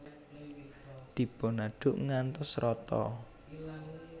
Dipunadhuk ngantos rata